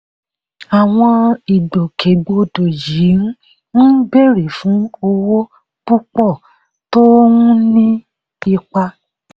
àwọn ìgbòkègbodò yìí ń béèrè fún owó púpọ̀ tó ń ní ipa.